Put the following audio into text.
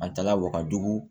An taala wakajugu